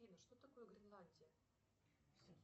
афина что такое гренландия